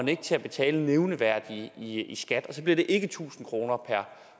til at betale noget nævneværdigt i skat og så bliver det ikke tusind kroner per